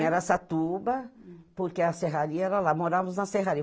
Em Araçatuba, porque a serraria era lá, morávamos na serraria.